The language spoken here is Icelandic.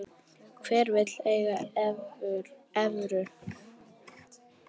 Hver vill eiga evrur?